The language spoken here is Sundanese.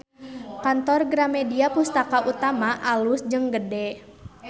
Kantor Gramedia Pustaka Utama alus jeung gede